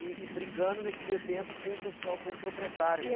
E e brigando nesse meio tempo com o pessoal, com o proprietário.